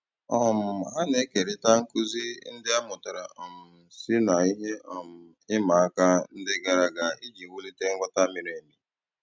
um Ha na-ékérị̀ta nkụ́zí ndí a mụ́tàra um sí ná ihe um ị̀ma àka ndí gààrà àga ijì wùlìtè nghọ́tá mìrí èmì.